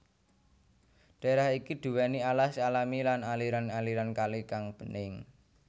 Daerah iki duweni alas alami lan aliran aliran kali kang bening